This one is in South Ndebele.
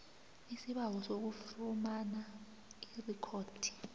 isibawo sokufumana irikhodi